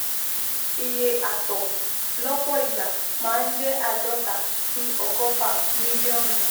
Iye àtọ̀ lọ́pọ̀ ìgbà máa ń jẹ́ àádọ́ta sí ọgọ́fà mílíọ̀nù